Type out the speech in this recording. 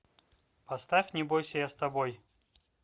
поставь не бойся я с тобой